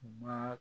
Ba